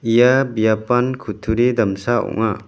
ia biapan kutturi damsa ong·a.